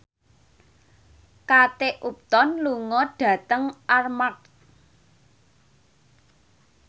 Kate Upton lunga dhateng Armargh